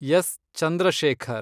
S. Chandrashekhar